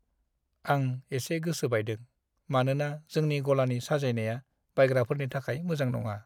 आं एसे गोसो बायदों, मानोना जोंनि गलानि साजायनाया बायग्राफोरनि थाखाय मोजां नङा।